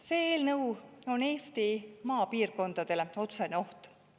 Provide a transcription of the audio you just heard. See eelnõu on Eesti maapiirkondadele otsene oht.